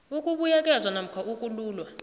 ukubuyekezwa namkha ukululwa